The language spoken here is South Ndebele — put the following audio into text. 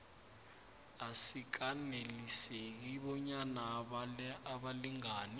asikaneliseki bonyana abalingani